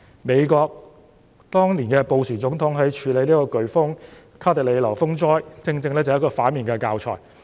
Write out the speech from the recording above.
美國總統布殊當年對卡特里娜颶風風災的處理，正正是一個反面教材。